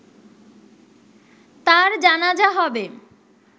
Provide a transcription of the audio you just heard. তার জানাজা হবে